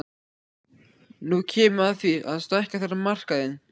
Nú kemur að því að stækka þarf markaðinn.